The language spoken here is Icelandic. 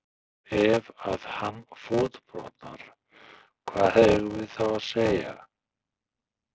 Ef að hann fótbrotnar hvað eigum við þá að segja?